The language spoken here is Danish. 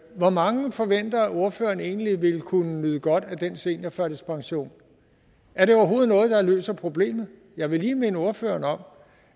hvor mange forventer ordføreren egentlig vil kunne nyde godt af den seniorførtidspension er det overhovedet noget der løser problemet jeg vil lige minde ordføreren om